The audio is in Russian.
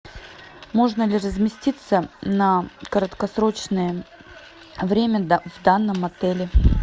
можно ли разместиться на краткосрочное время в данном отеле